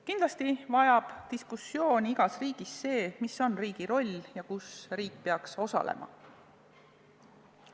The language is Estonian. Kindlasti vajab diskuteerimist igas riigis teema, mis on riigi roll, milles riik peaks osalema.